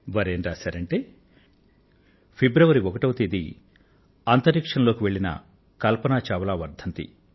వారు ఏం రాశారంటే ఫిబ్రవరి ఒకటో తేదీన అంతరిక్షం లోకి వెళ్ళిన కల్పన చావ్లా వర్ధంతి